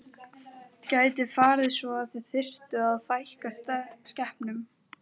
Gæti farið svo að þið þyrftuð að fækka skepnum?